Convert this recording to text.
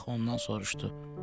Ulaq ondan soruşdu: